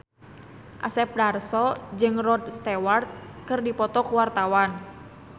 Asep Darso jeung Rod Stewart keur dipoto ku wartawan